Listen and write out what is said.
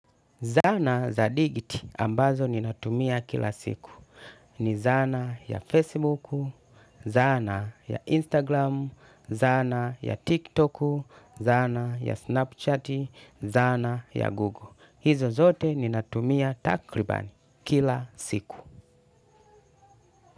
Zana za dijiti ambazo ninatumia kila siku. Ni zana ya Facebook, zana ya Instagram, zana ya TikTok, zana ya Snapchat, zana ya Google. Hizo zote ninatumia takribani kila siku.